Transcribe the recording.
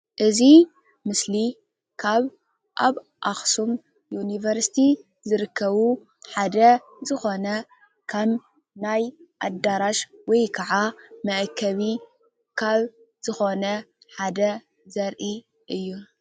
እዚ ምስሊ ካብ አብ አኽሱም ዩኒቨርስቲ ዝርከቡ ሓደ ዝኾነ ከም ናይ አዳራሽ ወይ ከዓ መአከቢ ካብ ዝኾነ ሓደ ዘርኢ እዩ ።